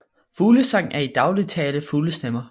Fuglesang er i daglig tale fuglestemmer